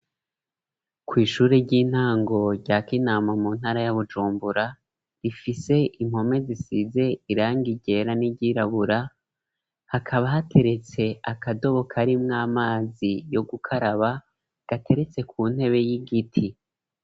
Kw'ishure ry'intango rya kinama mu ntara ya bujumbura rifise impome zisize irangi ryera n'iryirabura hakaba hateretse akadobo kari mw'amazi yo gukaraba gateretse ku ntebe y'igiti.